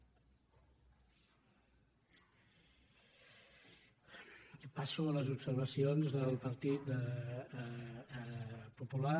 passo a les observacions del partit popular